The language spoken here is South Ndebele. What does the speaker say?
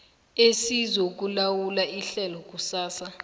esizokulawula ihlelo lakusasa